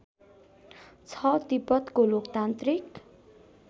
छ तिब्बतको लोकतान्त्रिक